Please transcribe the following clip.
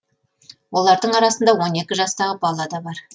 олардың арасында он екі жастағы бала да бар